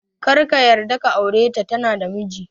Karka yarda ka aure ta, tana da miji